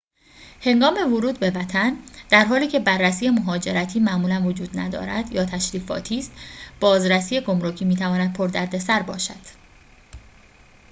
هنگام ورود به وطن در حالی که بررسی مهاجرتی معمولاً وجود ندارد یا تشریفاتی است بازرسی گمرکی می‌تواند پردردسر باشد